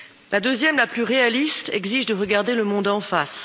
La deuxième, la plus réaliste, exige de regarder le monde en face.